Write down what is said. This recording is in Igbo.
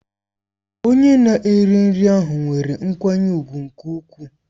Onye na-ere nri ahụ nwere nkwanye ùgwù nke ukwuu.